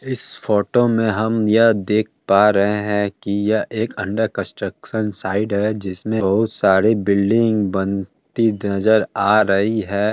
इस फोटो में हम यह देख पा रहे है की ये एक अंडर कंस्ट्रक्शन साइड है जिसमें बहुत सारे बिल्डिंग बनती नजर आ रही है।